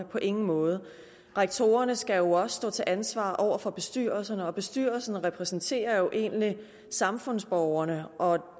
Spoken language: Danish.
på ingen måde rektorerne skal jo stå til ansvar over for bestyrelserne og bestyrelserne repræsenterer egentlig samfundsborgerne og